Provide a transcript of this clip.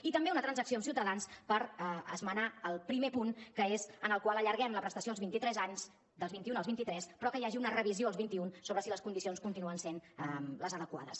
i també una transacció amb ciutadans per esmenar el primer punt que és en el qual allarguem la prestació als vint i tres anys dels vint i un als vint i tres però que hi hagi una revisió als vint i un sobre si les condicions continuen sent les adequades